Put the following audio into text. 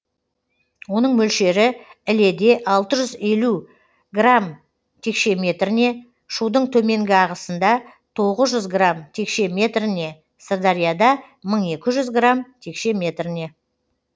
оның мөлшері іледе алты жүз елу грамм текше метріне шудың төменгі ағысында тоғыз жүз грамм текше метріне сырдарияда мың екі жүз грамм текше метріне